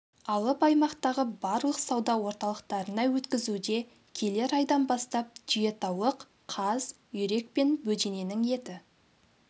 алып аймақтағы барлық сауда орталықтарына өткізуде келер айдан бастап түйетауық қаз үйрек пен бөдененің еті